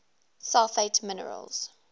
sulfate minerals